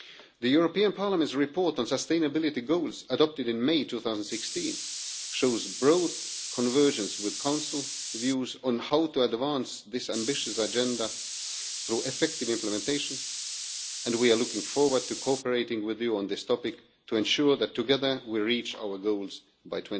The European Parliament's report on sustainability goals, adopted in May 2016, shows broad convergence with Council views on how to advance this ambitious agenda through effective implementation and we are looking forward to cooperating with you on this topic to ensure that, together, we reach our goals by